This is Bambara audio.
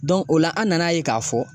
o la an nana ye k'a fɔ